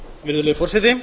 virðulegi forseti